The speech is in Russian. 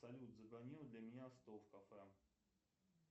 салют забронируй для меня стол в кафе